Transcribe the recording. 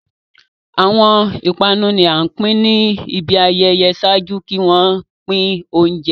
Awọn ipanu ni a pin ni ibi ayẹyẹ ṣaaju ki wọn pin ounjẹ